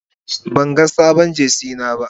Ban gani samun sabon Jersey dina ba.